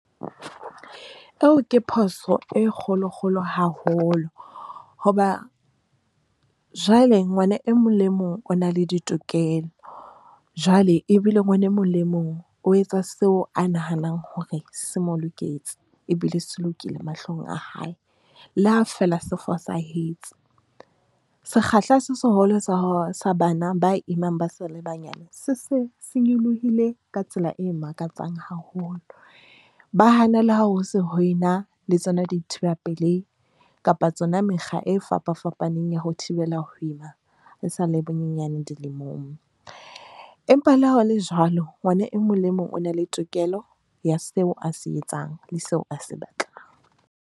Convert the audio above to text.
Eo ke phoso e kgolokgolo haholo hoba jwale ngwana e mong le mong o na le ditokelo. Jwale ebile ngwana e mong le mong o etsa seo a nahanang hore se mo loketse ebile se lokile mahlong a hae. Le ha fela se fosahetse, sekgahla se seholo sa bana ba imang ba sa le banyane, se se se nyolohile ka tsela e makatsang haholo, ba hana le ha ho se ho ena le tsona dithiba pelehi kapa tsona mekga e fapafapaneng ya ho thibela ho ima ba sa le banyenyane dilemong. Empa le ha hole jwalo, ngwana e mong le mong o na le tokelo ya seo a se etsang le seo a se batlang.